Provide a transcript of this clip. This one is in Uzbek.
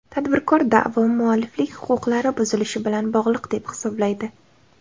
Tadbirkor da’vo mualliflik huquqlari buzilishi bilan bog‘liq deb hisoblaydi.